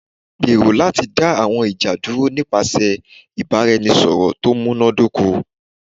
Gbero lati da awọn ija duro nipasẹ ibaraẹnisọrọ to munadoko